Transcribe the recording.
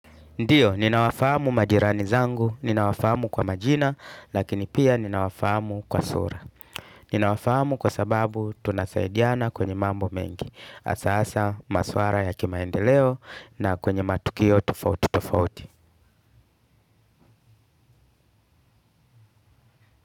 Ndiyo, ninawafahamu majirani zangu, ninawafahamu kwa majina, lakini pia ninawafahamu kwa sura. Ninawafahamu kwa sababu tunasaidiana kwenye mambo mengi. Hasahasa, maswala ya kimaendeleo na kwenye matukio tofauti tofauti.